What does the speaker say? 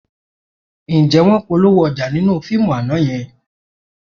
Ǹjẹ́ wọ́n polówó ọjà nínú fíìmù àná yẹn?